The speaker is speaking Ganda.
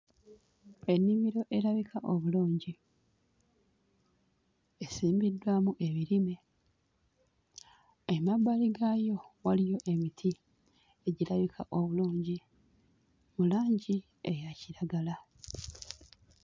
Ennimiro erabika obulungi, esimbiddwamu ebirime, emabbali gaayo waliyo emiti egirabika obulungi mu langi eya kiragala.